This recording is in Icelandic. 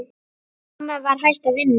Mamma var hætt að vinna.